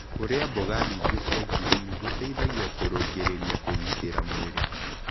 Kũrĩa mboga nyĩngĩ cia ngirini gũteĩthagĩa kũrũngĩrĩrĩa kũgĩtĩra mwĩrĩ